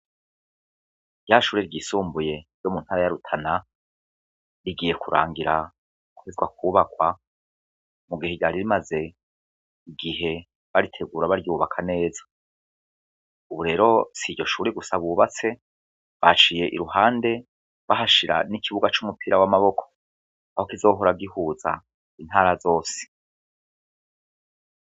Rya shure ryisumbuye ryo mu ntara ya rutana rigiye kurangira guhezwa kwubakwa mu gihe ryari rimaze igihe baritegura baryubaka neza, Ubu rero si iryo shure gusa bubatse baciye i ruhande bahashira n'ikibuga c'umupira w'amaboko aho kizohora gihuza intara zose.